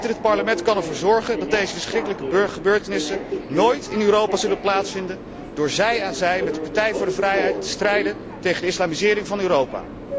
Dit Parlement kan ervoor zorgen dat deze verschrikkelijke gebeurtenissen nooit in Europa zullen plaatsvinden door zij aan zij met de Partij voor de Vrijheid te strijden tegen de islamisering van Europa.